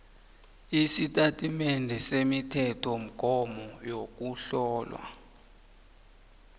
isitatimende semithethomgomo yokuhlola